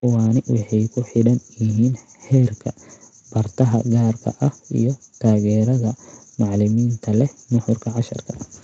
Kuwaani waxay ku xidhan yihiin heerka bartaha gaarka ah iyo taageerada macalimiinta leh nuxurka casharka.